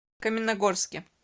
каменногорске